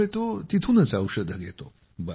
त्यामुळे तो तेथूनच औषध घेतो